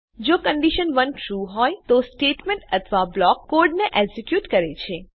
જો condition 1 true હોય તો તે સ્ટેટમેંટ અથવા બ્લોક કોડ ને એક્ઝેક્યુટ કરે છે